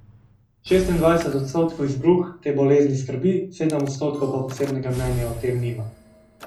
Šestindvajset odstotkov izbruh te bolezni skrbi, sedem odstotkov pa posebnega mnenja o tem nima.